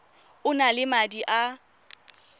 o na le madi a